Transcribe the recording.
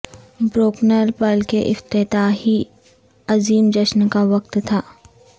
Brooklyn پل کے افتتاحی عظیم جشن کا وقت تھا